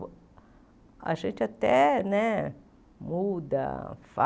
A gente até né muda,